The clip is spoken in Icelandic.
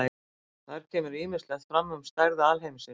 Þar kemur ýmislegt fram um stærð alheimsins.